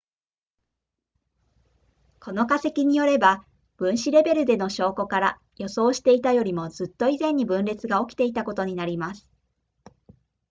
この化石によれば分子レベルでの証拠から予想していたよりもずっと以前に分裂が起きていたことになります